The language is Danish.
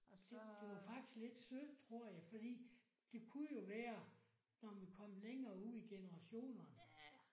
Det det var faktisk lidt synd tror jeg fordi det kunne jo være når man kom længere ud generationerne